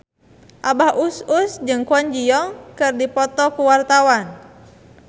Abah Us Us jeung Kwon Ji Yong keur dipoto ku wartawan